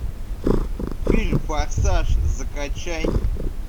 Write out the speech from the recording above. фильм форсаж закачай